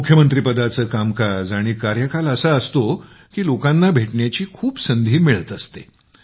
मुख्यमंत्री पदाचं कामकाज आणि कार्यकाल असा असतो की लोकांना भेटण्याची खूप संधी मिळत असते